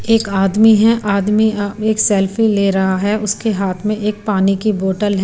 एक आदमी है आदमी अब एक सेल्फी ले रहा है उसके हाथ में एक पानी के बोतल --